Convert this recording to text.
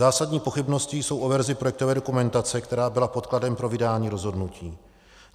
Zásadní pochybnosti jsou o verzi projektové dokumentace, která byla podkladem pro vydání rozhodnutí.